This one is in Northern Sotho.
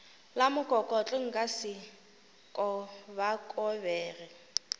la mokokotlo nka se kobakobege